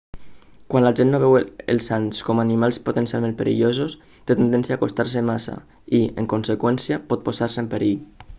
quan la gent no veu els ants com animals potencialment perillosos té tendència a acostar-se massa i en conseqüència pot posar-se en perill